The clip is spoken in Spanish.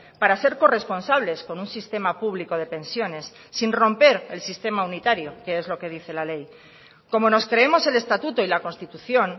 para ser corresponsables con un sistema público de pensiones sin romper el sistema unitario que es lo que dice la ley como nos creemos el estatuto y la constitución